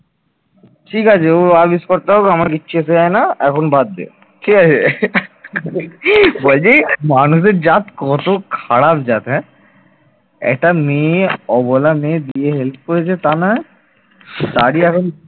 একটা মেয়ে অবহেলা মেয়ের বিয়ে help করেছে তার নামে তারই এখন